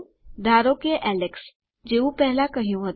ધારો કે એલેક્સ જેવું પહેલા કહ્યું હતું